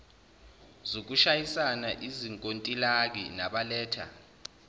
zokusayina izinkontilaki nabaletha